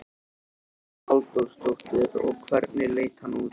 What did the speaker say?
Hugrún Halldórsdóttir: Og hvernig leit hann út?